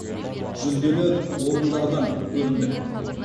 жүлделі орындадан көріндік